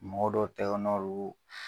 Mɔgɔ dɔ tɛgɛnɔ don